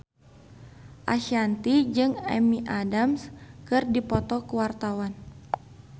Ashanti jeung Amy Adams keur dipoto ku wartawan